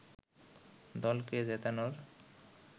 দলকে জেতানোর